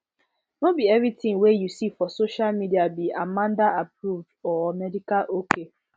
no be everything we you see for social media be amandaapproved or medical ok